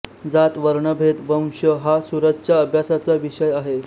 जात वर्णभेद वंश हा सूरजच्या अभ्यासाचा विषय आहे